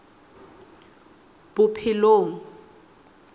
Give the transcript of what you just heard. bophelong